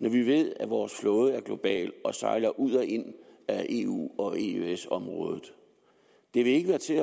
når vi ved at vores flåde er global og sejler ud og ind af eu og eøs området det vil ikke være til